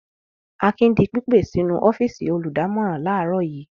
Akin di pípè sínú ọ́fíísì olùdámọ̀ràn láàárọ̀ yìí.